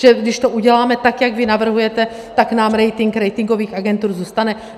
Že když to uděláme tak, jak vy navrhujete, tak nám rating ratingových agentur zůstane?